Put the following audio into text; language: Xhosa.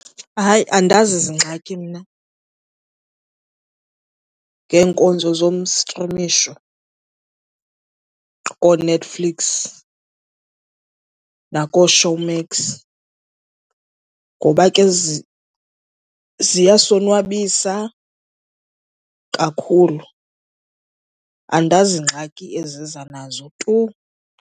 Hay,i andazi zingxaki mna ngeenkonzo zomstrimisho kooNetflix nakooShowmax ngoba ke ziyasonwabisa kakhulu. Andazi ngxaki eziza nazo tu.